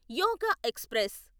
యోగ express